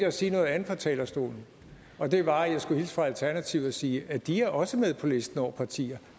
at sige noget andet fra talerstolen og det var at jeg skulle hilse fra alternativet og sige at de også er med på listen over partier